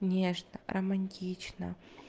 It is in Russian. нежно романтично